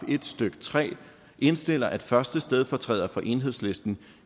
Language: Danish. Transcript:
en stykke tre indstiller at første stedfortræder for enhedslisten